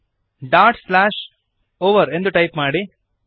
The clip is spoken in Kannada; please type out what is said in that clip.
over ಡಾಟ್ ಸ್ಲ್ಯಾಷ್ ಓವರ್ ಎಂದು ಟೈಪ್ ಮಾಡಿರಿ